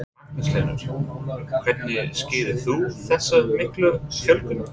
Magnús Hlynur: Hvernig skýrir þú þessa miklu fjölgun?